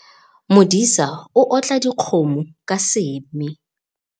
Modisa o otla dikgomo ka seme